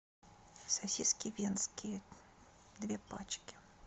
сосиски венские две пачки